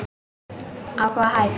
Á hvaða hæð?